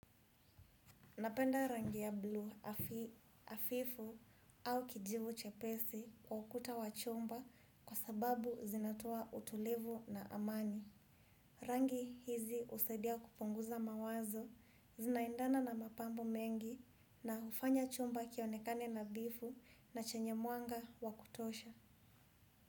Napenda rangi ya bluu hafifu au kijivu chepesi kwa ukuta wa chumba kwa sababu zinatoa utulivu na amani. Rangi hizi husadia kupunguza mawazo zinaendana na mapambo mengi na hufanya chumba kionekane nadhifu na chenye mwanga wa kutosha.